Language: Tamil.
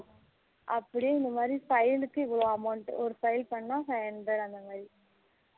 அப்படி இந்த மாதிரி file க்கு இவலோ amount ஒரு file பன்னா five hundred அந்த மாதிரி